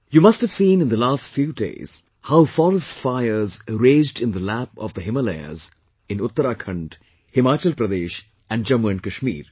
You must have seen in the last few days how forest fires raged in the lap of the Himalayas in Uttarakhand, Himachal Pradesh and Jammu and Kashmir